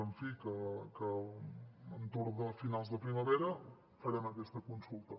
en fi que entorn de finals de primavera farem aquesta consulta